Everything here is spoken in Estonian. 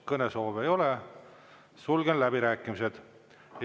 Kõnesoove ei ole, sulgen läbirääkimised.